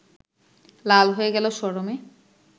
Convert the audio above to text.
লাল হয়ে গেল শরমে